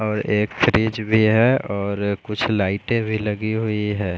और एक फ्रिज भी है और कुछ लाइटे भी लगी हुई है।